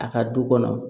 A ka du kɔnɔ